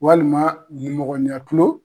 Walima nimɔgɔnin ya kulon.